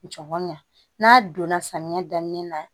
Jɔgɔn ɲɛ n'a donna samiya daminɛ na